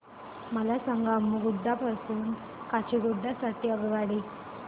मला सांगा अम्मुगुडा पासून काचीगुडा साठी आगगाडी